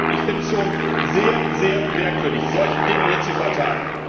Ich muss sagen, ich finde es schon sehr, sehr merkwürdig, solche Dinge hier zu verteilen.